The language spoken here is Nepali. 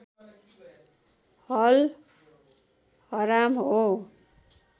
अल हराम हो